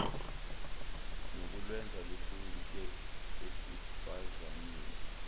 nokulwenza luhluke esifazaneni